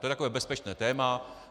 To je takové bezpečné téma.